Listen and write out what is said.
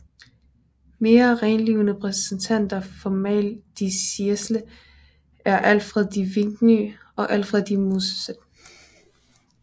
Mere renlivede repræsentanter for mal de siecle er Alfred de Vigny og Alfred de Musset